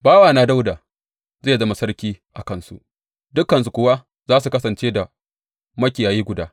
Bawana Dawuda zai zama sarki a kansu, dukansu kuwa za su kasance da makiyayi guda.